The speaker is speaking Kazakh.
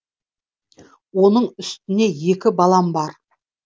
оның үстіне екі балам бар